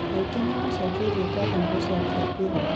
Mũingĩ nĩ ũmũcokeirie ngatho nĩ gũcokia mbia